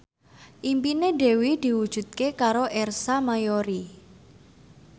impine Dewi diwujudke karo Ersa Mayori